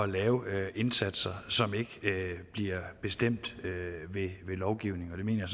lave indsatser som ikke bliver bestemt ved lovgivning det mener